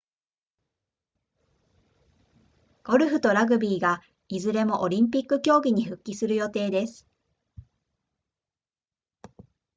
ゴルフとラグビーがいずれもオリンピック競技に復帰する予定です